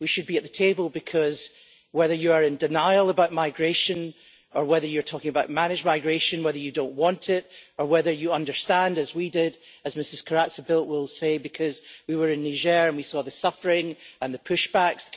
We should be at the table because whether you are in denial about migration or whether you're talking about managed migration, whether you don't want it or whether you understand, as we did, as Ms Corazza Bildt will say, because we were in Niger and we saw the suffering and the push backs.